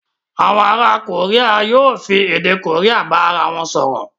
Àwọn ará Korea yóò fi èdè Korea bá ara wọn sọ̀rọ̀.